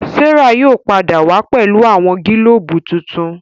Serah yóò pàdà wá pẹlu awọn gilobu tintun.